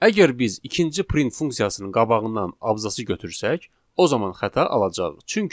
Əgər biz ikinci print funksiyasının qabağından abzası götürsək, o zaman xəta alacağıq.